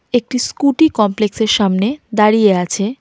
একটি স্কুটি কমপ্লেক্সের -এর সামনে দাঁড়িয়ে আছে।